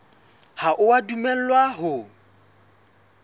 ha o a dumellwa ho